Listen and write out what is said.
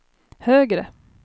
högre